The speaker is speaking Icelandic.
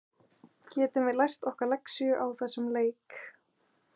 Getum við lært okkar lexíu á þessum leik?